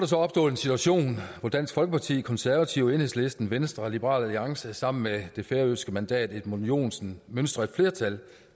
så opstået en situation hvor dansk folkeparti konservative enhedslisten venstre og liberal alliance sammen med det færøske mandat edmund joensen mønstrer et flertal